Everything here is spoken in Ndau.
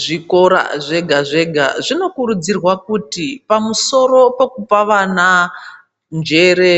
Zvikora zvega zvega zvinokurudzirwa kuti pamusoro pekupa vana njere